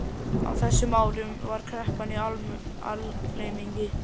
Á þessum árum var kreppan í algleymingi.